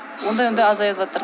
ондай ондай азайыватыр